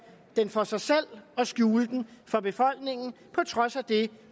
den for sig selv og skjule den for befolkningen på trods af det